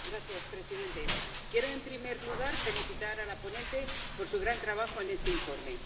Señor presidente, quiero, en primer lugar, felicitar a la ponente por su gran trabajo en este informe.